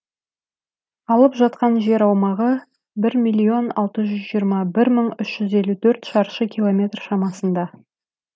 алып жатқан жер аумағы бір миллион алты жүз жиырма бір мың үш жүз елу төрт шаршы километр шамасында